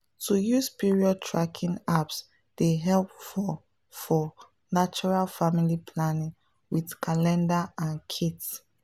to use period tracking apps dey help for for natural family planning with calendar and kits.